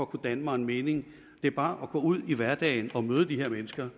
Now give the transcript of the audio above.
kunne danne mig en mening det er bare at gå ud i hverdagen og møde de her mennesker